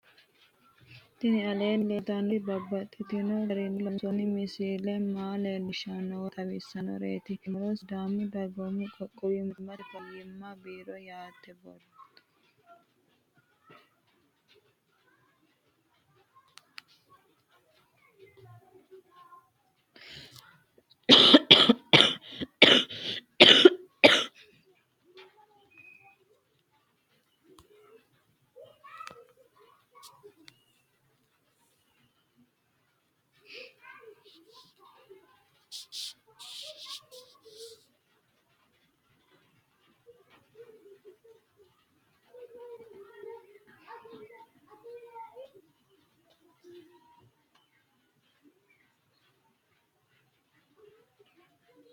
Tinni aleenni leelittannotti babaxxittinno garinni loonsoonni misile maa leelishshanno woy xawisannori maattiya yinummoro sidaamu dagoimmu qoqqowu mootimma faynaansete biirro yittanno borro